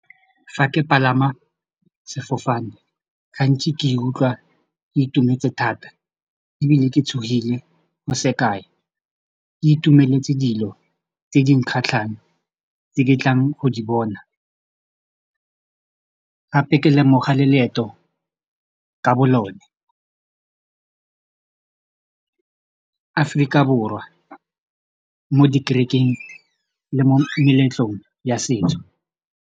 Fa ke palama sefofane gantsi ke ikutlwa ke itumetse thata ebile ke tshogile sekai ke itumeletse dilo tse di nkgatlhang tse ke tlang go di bona gape ke lemoga le leeto ka bo lone Aforika Borwa mo dikerekeng le mo meletlong ya setso.